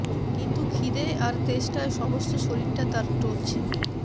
কিন্তু খিদেয় আর তেষ্টায় সমস্ত শরীরটা তার টলছে